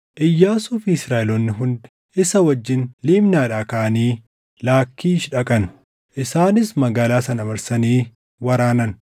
Iyyaasuu fi Israaʼeloonni hundi isa wajjin Libnaadhaa kaʼanii Laakkiish dhaqan; isaanis magaalaa sana marsanii waraanan.